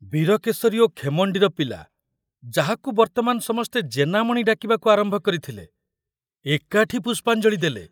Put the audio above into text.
ବୀରକେଶରୀ ଓ ଖେମଣ୍ଡିର ପିଲା, ଯାହାକୁ ବର୍ତ୍ତମାନ ସମସ୍ତେ ଜେନାମଣି ଡାକିବାକୁ ଆରମ୍ଭ କରିଥିଲେ, ଏକାଠି ପୁଷ୍ପାଞ୍ଜଳି ଦେଲେ।